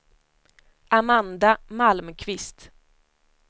Amanda Malmqvist